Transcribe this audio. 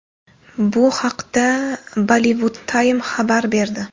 Bu haqda Bollywoodtime xabar berdi .